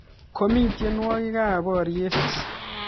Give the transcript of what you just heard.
Komii tiendwogik ap pariet